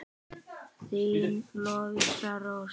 Þín Lovísa Rós.